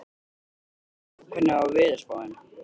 Friðleif, hvernig er veðurspáin?